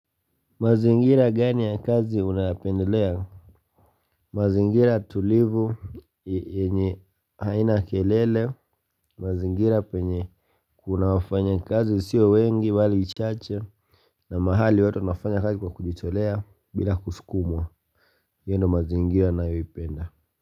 Mazingira gani ya kazi unayapendelea mazingira tulivu yenye haina kelele mazingira penye Kuna wafanya kazi sio wengi wala chache na mahali watu wanafanya kazi kwa kujitolea bila kusukumwa hiyo ndiyo mazingira nayoipenda.